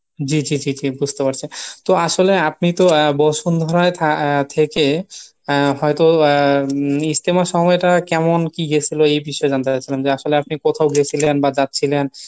জি জি জি জি বুজতে পারছি, তো আসলে আপনি তো বসুন্ধরায় থা আহ থেকে আহ হয়তো আহ ইজতেমার সময়টা কেমন কী গেছিলো এই বিষয়ে জানতে চাচ্ছিলাম যে আসলে আপনি কোথাও গেছিলেন বা যাচ্ছিলেন।